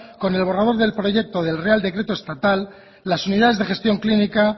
con el borrador del proyecto del real decreto estatal las unidades de gestión clínica